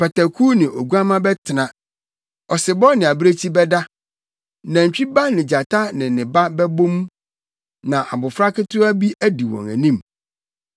Pataku ne oguamma bɛtena, ɔsebɔ ne abirekyi bɛda, nantwi ba ne gyata ne ne ba bɛbɔ mu; na abofra ketewa bi adi wɔn anim.